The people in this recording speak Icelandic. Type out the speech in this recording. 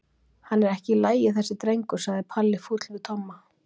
Hann er ekki í lagi þessi drengur sagði Palli fúll við Tomma þegar